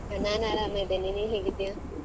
ನಾನ್ ಆರಾಮ ಇದ್ದೇನೆ ನೀನ್ ಹೇಗಿದ್ದಿಯಾ?